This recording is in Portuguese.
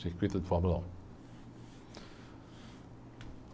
Circuito de Fórmula um.